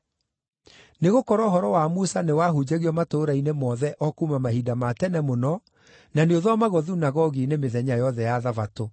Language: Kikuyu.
Nĩgũkorwo ũhoro wa Musa nĩwahunjagio matũũra-inĩ mothe o kuuma mahinda ma tene mũno, na nĩũthomagwo thunagogi-inĩ mĩthenya yothe ya Thabatũ.”